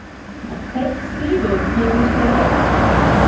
Heitt stýri, gerið svo vel.